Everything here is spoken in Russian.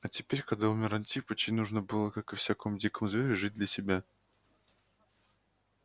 а теперь когда умер антипыч ей нужно было как и всякому дикому зверю жить для себя